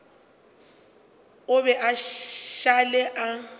a be a šale a